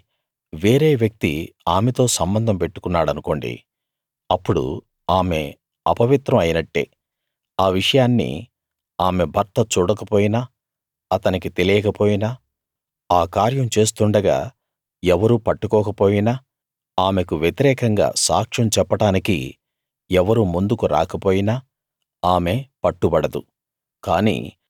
అంటే వేరే వ్యక్తి ఆమెతో సంబంధం పెట్టుకున్నాడనుకోండి అప్పుడు ఆమె అపవిత్రం అయినట్టే ఆ విషయాన్ని ఆమె భర్త చూడకపోయినా అతనికి తెలియక పోయినా ఆ కార్యం చేస్తుండగా ఎవరూ పట్టుకోకపోయినా ఆమెకు వ్యతిరేకంగా సాక్ష్యం చెప్పడానికి ఎవరూ ముందుకు రాకపోయినా ఆమె పట్టుబడదు